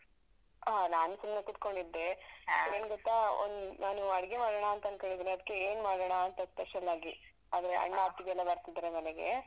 ಹಾ ನಾನ್ ಸುಮ್ನೆ ಕೂತ್ಕೊಂಡಿದ್ದೆ. ಏನ್ ಗೊತ್ತಾ, ಒಂದ್ ನಾನು ಅಡ್ಗೆ ಮಾಡಣಾ ಅಂತಂದ್ಕಂಡಿದೀನಿ, ಅದ್ಕೆ ಏನ್ ಮಾಡಣಾ ಅಂತ special ಆಗಿ? ಆದ್ರೆ ಅಣ್ಣ ಅತ್ಗೆ ಎಲ್ಲಾ ಬರ್ತಿದಾರೆ ಮನೆಗೆ.